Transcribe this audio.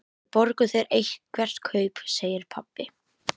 Við borgum þér eitthvert kaup, segir pabbi.